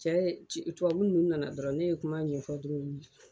Cɛ ye minnu nana dɔrɔn ne ye kuma ɲɛ ɲɛfɔ duuru